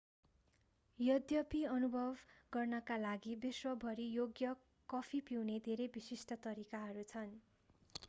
यद्यपि अनुभव गर्नका लागि विश्वभरि योग्य कफी पिउने धेरै विशिष्ट तरिकाहरू छन्